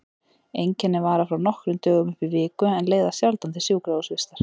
Einkennin vara frá nokkrum dögum upp í viku en leiða sjaldan til sjúkrahúsvistar.